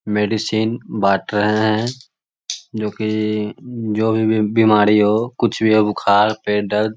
medicine बाँट रहे हैं जो की जो भी बीमारी हो कुछ भी हो बुखार पेट दर्द --